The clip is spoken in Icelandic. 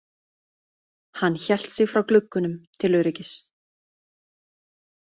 Hann hélt sig frá gluggunum til öryggis.